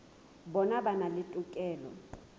bona ba na le tokelo